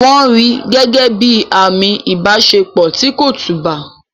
Wọ́n rí gẹ́gẹ́ bíi àmì ìbáṣepọ̀ tí kò tùbà.